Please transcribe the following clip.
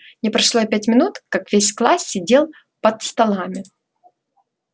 не прошло и пяти минут как весь класс сидел под столами